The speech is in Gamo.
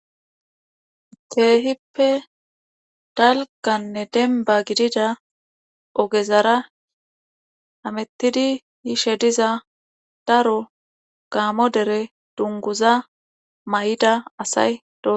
Keehippe dalgganne dembba gidida ogezara hamettidi yishe diza daro gaamo dere dungguza mayida asay dooso.